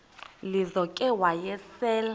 lizo ke wayesel